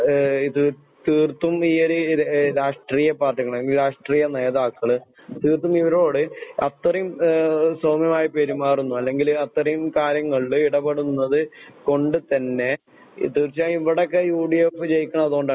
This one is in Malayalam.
ഏഹ് ഇത് തീർത്തും ഈ ഒര് ര് രാഷ്ട്രീയ പാർട്ടികള് അല്ലെങ്കി രാഷ്ട്രീയ നേതാക്കള് ഇവരോട് അത്രയും ഏഹ് സൗമ്യമായി പെരുമാറുന്നു അല്ലെങ്കിൽ അത്രയും കാര്യങ്ങളില് ഇടപെടുന്നത് കൊണ്ട് തന്നെ തീർച്ചയായും ഇവിടെയൊക്കെ യുഡിഎഫ് ജയിക്കണത് അതുകൊണ്ടാണ്.